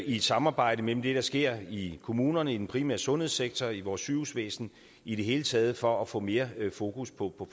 et samarbejde mellem det der sker i kommunerne i den primære sundhedssektor og i vores sygehusvæsen i det hele taget for at få mere fokus på